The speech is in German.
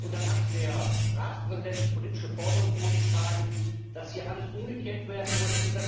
Dann hat der Ratspräsident politische Forderungen vorgeschlagen, dass hier alles umgekehrt werden muss.